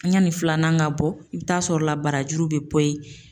Yani filanan ka bɔ, i bi t'a sɔrɔ la barajuru bɛ bɔ yen.